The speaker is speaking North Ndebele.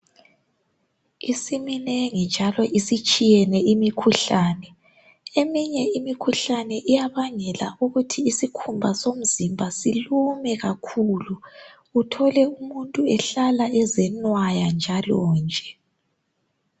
Isiminengi njalo isitshiyene imikhuhlane eminye imikhuhlane iyabangela ukuthi isikhumba somzimba silume kakhulu uthole umuntu ehlala ezenwaya njalo nje